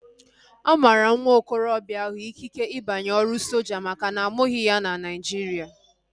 A mara nwa okorobịa ahu ikike ịbanye ọrụ soja makana amụghi na ya na Naijiria